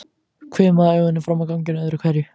Hvimaði augunum fram á ganginn öðru hverju.